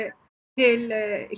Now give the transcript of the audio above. til